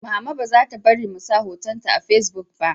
Mama ba za ta bari mu sa hoton ta a fasibuk ba